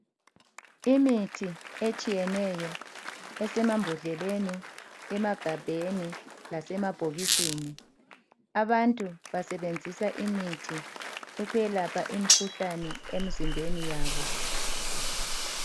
lmithi etshiyeneyo esemabhodleleni, emagabheni lasemabhokisini. Abantu basebenzisa imithi ukwelapha imikhuhlane emizimbeni yabo.